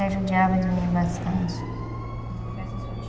judiava de mim bastante; Então foi essa sua